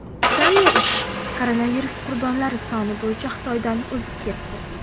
Italiya esa koronavirus qurbonlari soni bo‘yicha Xitoydan o‘zib ketdi.